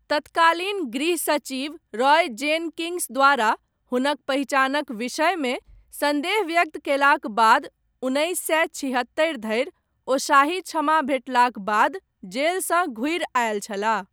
तत्कालीन गृह सचिव रॉय जेनकिङ्स द्वारा, हुनक पहिचानक विषयमे, सन्देह व्यक्त कयलाक बाद, उन्नैस सए छिहत्तरि धरि, ओ शाही क्षमा भेटलाक बाद, जेलसँ घुरि आयल छलाह।